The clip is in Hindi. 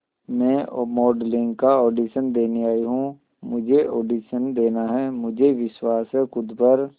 मैं मॉडलिंग का ऑडिशन देने आई हूं मुझे ऑडिशन देना है मुझे विश्वास है खुद पर